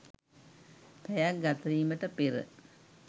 පැයක්‌ ගතවීමට පෙර